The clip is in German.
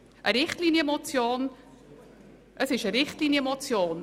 Es ist eine Richtlinienmotion.